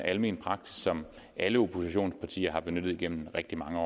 almen praksis som alle oppositionspartier har benyttet igennem rigtig mange